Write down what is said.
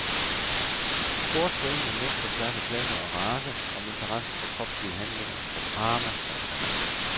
Sport forener mænd på tværs af klasser og race om interessen for kropslige handlinger, for drama og for kamp.